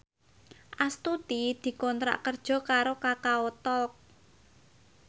Astuti dikontrak kerja karo Kakao Talk